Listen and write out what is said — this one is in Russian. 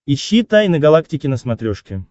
ищи тайны галактики на смотрешке